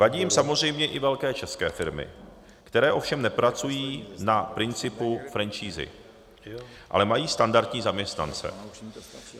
Vadí jim samozřejmě i velké české firmy, které ovšem nepracují na principu franšízy, ale mají standardní zaměstnance.